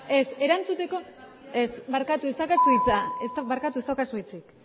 ez erantzuteko ez ez daukazu hitza barkatu ez daukazu hitzik